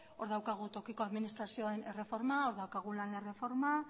hor daukagu tokiko administrazioen erreforma hor daukagu lan erreforma